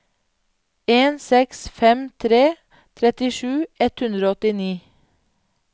en seks fem tre trettisju ett hundre og åttini